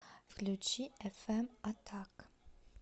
включи эфэм атак